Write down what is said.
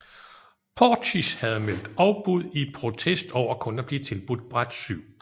Portisch havde meldt afbud i protest over kun at blive tilbudt bræt 7